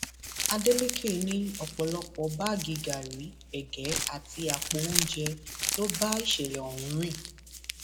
adeleke ní ọpọlọpọ báàgì gàárì ègé àti àpò oúnjẹ ló bá ìṣẹlẹ ọhún rìn